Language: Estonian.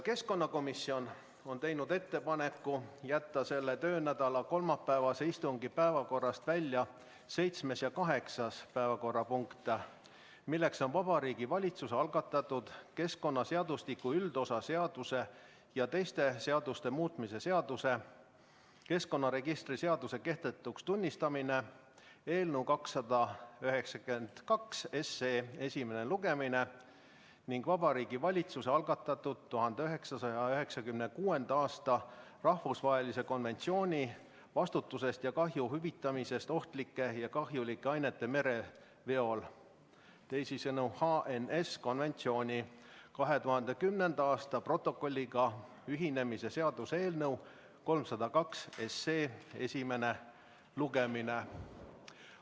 Keskkonnakomisjon on teinud ettepaneku jätta selle töönädala kolmapäevase istungi päevakorrast välja seitsmes ja kaheksas päevakorrapunkt, need on Vabariigi Valitsuse algatatud keskkonnaseadustiku üldosa seaduse ja teiste seaduste muutmise seaduse eelnõu 292 esimene lugemine ning Vabariigi Valitsuse algatatud 1996. aasta rahvusvahelise konventsiooni vastutusest ja kahju hüvitamisest ohtlike ja kahjulike ainete mereveol 2010. aasta protokolliga ühinemise seaduse eelnõu 302 esimene lugemine.